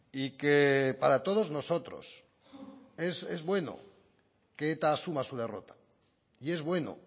y que para todos nosotros es bueno que eta asuma su derrota y es bueno